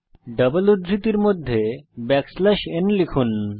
double উদ্ধৃতির মধ্যে backslash n লিখুন